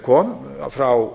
kom frá